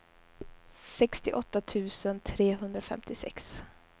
sextioåtta tusen trehundrafemtiosex